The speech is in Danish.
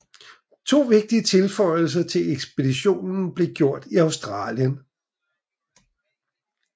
To vigtige tilføjelser til ekspeditionen blev gjort i Australien